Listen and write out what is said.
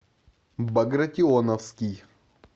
багратионовский